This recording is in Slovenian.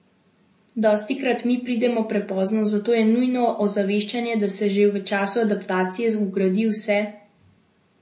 Dostikrat mi pridemo prepozno, zato je nujno ozaveščanje, da se že v času adaptacije vgradi vse potrebno.